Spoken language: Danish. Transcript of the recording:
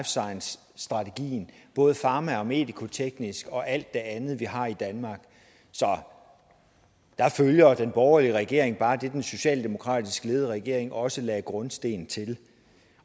science strategien både farma og medicoteknisk og alt det andet vi har i danmark så der følger den borgerlige regering bare det som den socialdemokratisk ledede regering også lagde grundstenen til